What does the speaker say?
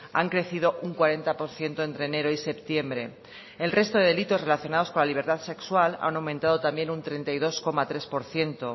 han crecido un cuarenta por ciento entre enero y septiembre el resto de delitos relacionados con la libertad sexual han aumentado también un treinta y dos coma tres por ciento